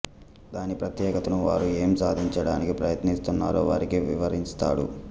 దాని ప్రత్యేకతను వారు ఏం సాధించడానికి ప్రయత్నిస్తున్నారో వారికి వివరిస్తాడు